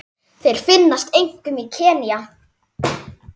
Þeir finnast einkum í Kenía.